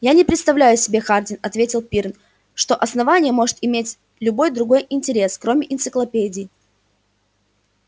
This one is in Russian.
я не представляю себе хардин ответил пиренн что основание может иметь любой другой интерес кроме энциклопедии